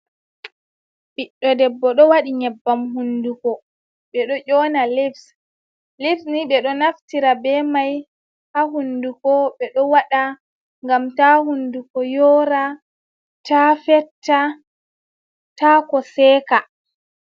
Ɓiɗɗo debbo ɗo waɗi nyebbam hunduko. Ɓe ɗo ƴona lips. Lips ni ɓe ɗo naftira be mai ha hunduko ɓe ɗo waɗa ngam ta hunduko yora, ta fetta, ta ko seeka.